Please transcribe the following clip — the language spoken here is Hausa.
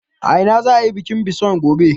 A ina za a yi bikin bison gobe?